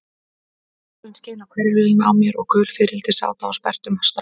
Sólin skein á hvirfilinn á mér og gul fiðrildi sátu á sperrtum stráum.